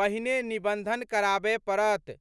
पहिने निबंधन कराबय पड़त।